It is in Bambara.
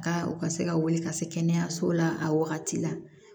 Ka u ka se ka wele ka se kɛnɛyaso la a wagati la